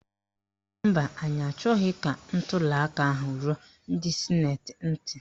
Mba, anyị achọghị ka ntuliaka ahụ ruo ndị sịnetị ntị.